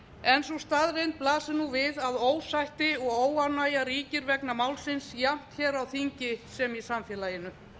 en sú staðreynd blasir nú við að ósætti og óánægja ríkir vegna málsins jafnt hér á þingi sem í samfélaginu